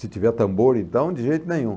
Se tiver tambor, então, de jeito nenhum.